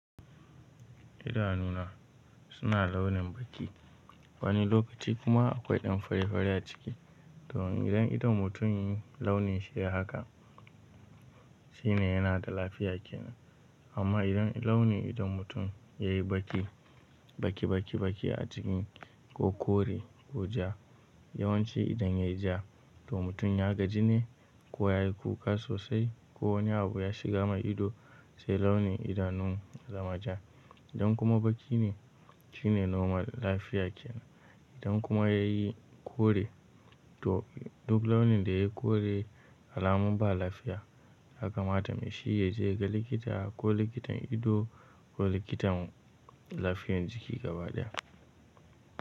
Idanuna suna launin baki, wani lokaci kuma akwai ɗan fari-fari a ciki. To idan idon mutum launi shi yayi haka, shi ne yana da lafiya kenan. Amma idan launi idon mutum yayi baki, baki baki baki a ciki ko kore ko ja, yawanci idan yayi ja to mutum ya gaji ne ko yayi kuka sosai ko wani abu ya shiga ma ido sai launin idanun zamaja. Idan kuma baki ne, shi ne normal lafiya kenan. Idan kuma yayi kore to duk launin da yayi kore, alamu ba lafiya haka ma tamishi ya je ga likita ko likitan ido ko likitan lafiyar jiki gaba ɗaya.